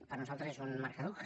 per nosaltres és un marc caduc